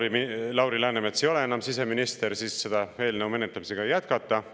Kuna Lauri Läänemets ei ole enam siseminister, siis selle eelnõu menetlemist ei oleks pidanud jätkama.